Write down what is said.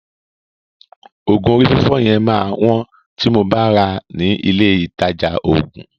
Òògùn orí fífọ́ yẹn máa wọ́n tí mo bá ràá ní ilé ìtajà òògùn.